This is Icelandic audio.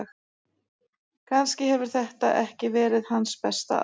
Kannski hefur þetta ekki verið hans besta ár.